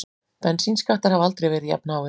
Bensínskattar hafa aldrei verið jafnháir